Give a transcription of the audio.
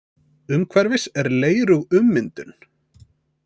Umhverfis er leirug ummyndun.